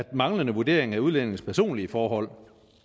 manglende vurdering af udlændingens personlige forhold